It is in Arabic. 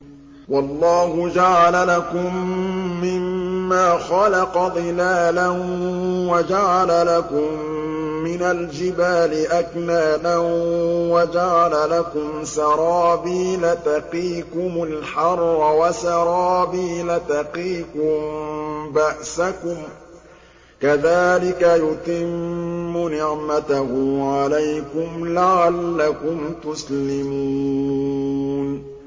وَاللَّهُ جَعَلَ لَكُم مِّمَّا خَلَقَ ظِلَالًا وَجَعَلَ لَكُم مِّنَ الْجِبَالِ أَكْنَانًا وَجَعَلَ لَكُمْ سَرَابِيلَ تَقِيكُمُ الْحَرَّ وَسَرَابِيلَ تَقِيكُم بَأْسَكُمْ ۚ كَذَٰلِكَ يُتِمُّ نِعْمَتَهُ عَلَيْكُمْ لَعَلَّكُمْ تُسْلِمُونَ